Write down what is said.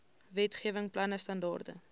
wetgewing planne standaarde